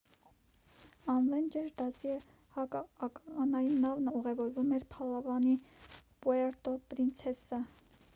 ավենջեր դասի հակաականային նավն ուղևորվում էր փալավանի պուերտո պրինցեսա